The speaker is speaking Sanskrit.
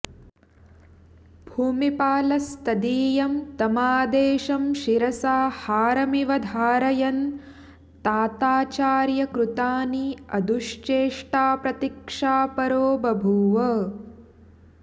भूमिपालस्तदीयं तमादेशं शिरसा हारमिव धारयन् ताताचार्यकृतानि अदुश्चेष्टाप्रतीक्षापरो बभूव